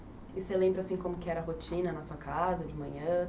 E você lembra assim como que era a rotina na sua casa de manhã?